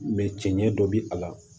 cɛncɛn dɔ bi a la